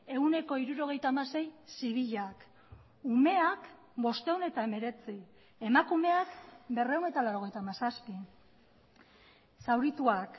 ehuneko hirurogeita hamasei zibilak umeak bostehun eta hemeretzi emakumeak berrehun eta laurogeita hamazazpi zaurituak